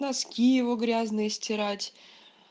носки его грязные стирать